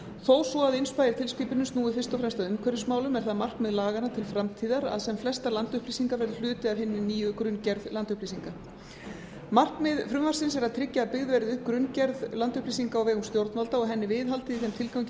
þó svo að innsæi tilskipunarinnar snúi fyrst og fremst að umhverfismálum er það markmið laganna til framtíðar að sem flestar landupplýsingar verði hluti af hinni nýju grunngerð landupplýsinga markmið frumvarpsins er að tryggja að byggð verði upp grunngerð landupplýsinga á vegum stjórnvalda og henni við haldið í þeim tilgangi að